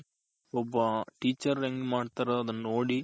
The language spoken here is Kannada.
ಒಬ್ಬ Teacher ಹೆಂಗ್ ಮಾಡ್ತಾರೋ ಅದನ್ ನೋಡಿ